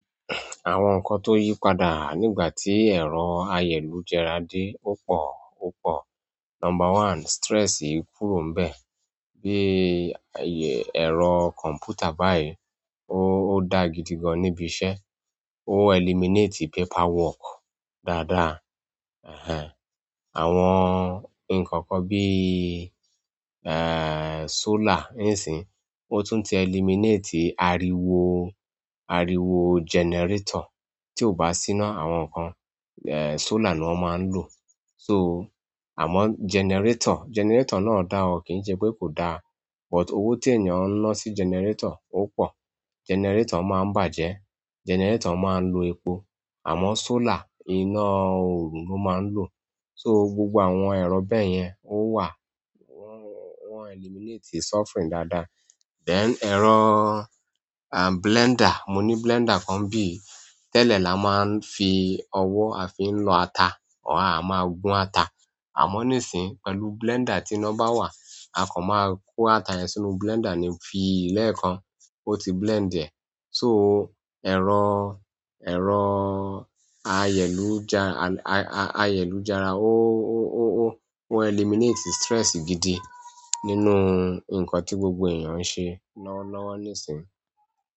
Àwọn nǹkan tó yí padà nígbà tí ẹ̀rọ ayélujára dé ò pọ̀, ò pọ̀. Number one, stress kúrò bẹ́ẹ̀, bí i ẹ̀rọ kọ̀m̀pútà báyìí, ó dá gidi gan níbi iṣẹ́, ó eliminate paperwork dáadáa. Ehen, àwọn nǹkan kan bí i, eh, solar ńsin, ó tún ti eliminate ariwo, ariwo generator tí ó bá sína àwọn nǹkan, eh, solar ni wọ́n máa ń lò. So, àmọ́ generator, generator náà dá ọ, kì ń ṣe pé kò da, but owó ti ènìyàn ń ná sí generator ó pọ̀. Generator máa ń bàjẹ́, generator máa ń lo epo, àmọ́ solar iná oorun ló máa ń lò. So, gbogbo àwọn ẹ̀rọ bẹ́ẹ̀ yẹn ó wà, wọ́n, wọ́n eliminate suffering dáadáa. Then ẹ̀rọ, ah, blender, mo ní blender kan bí i, tẹ́lẹ̀ la máa ń fi ọwọ́ a fi ń lọ ata, à máa gún ata. Àmọ́ nísìí, pẹ̀lú blender tí iná bá wà, akọ máa kó ata yẹn sínú blender ni fi í lẹ́ẹ̀kan, ó ti blend ẹ. So, ẹ̀rọ, ẹ̀rọ ayélujára, a-a-ayélujára ó, ó, ó, ó eliminate stress gidi nínú nǹkan tí gbogbo èèyàn ń ṣe lọ́wọ́lọ́wọ́ nísìí.